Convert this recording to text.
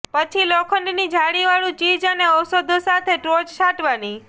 પછી લોખંડની જાળીવાળું ચીઝ અને ઔષધો સાથે ટોચ છાંટવાની